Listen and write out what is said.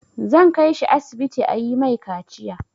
Zan kai shi asibiti a yi mai kaciya.